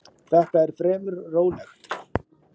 Þetta er fremur rólegt.